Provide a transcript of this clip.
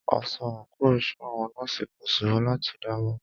Aṣọ àńkò iṣẹ́ àwọn nọ́ọ̀sì kò ṣòro láti dámọ̀.